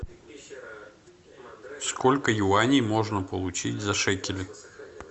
сколько юаней можно получить за шекели